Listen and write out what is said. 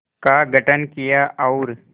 का गठन किया और